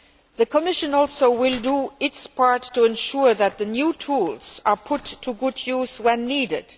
The Commission will also do its part to ensure that the new tools are put to good use when needed.